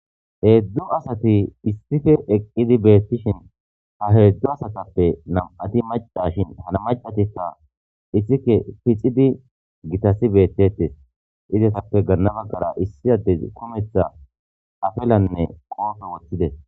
Hedzu asati issipe eqidi betishe ha hedzu asatape nam'ati macashin macatika isike pixidi gitas betetes izetape gana bagara issi adezi kumetha apalanne qofe wothides